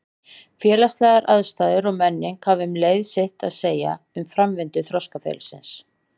Félagslegar aðstæður og menning hafa um leið sitt að segja um framvindu þroskaferilsins.